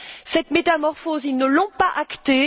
Cette métamorphose, ils ne l'ont pas actée.